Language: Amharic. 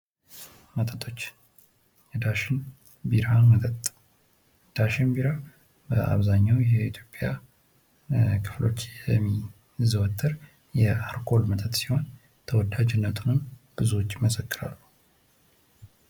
መጠጦች የዳሽን ቢራ መጠጥ፤ ዳሽን ቢራ በአብዛኛው የኢትዮጵያ ክፍሎች የሚዘወትር የአልኮል መጠጥ ሲሆን ተወዳጅነትንም ብዙዎች ይመሰክራሉ።